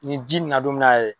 Nin ji na don n'a yɛrɛ ye.